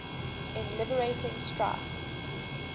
in liberating strife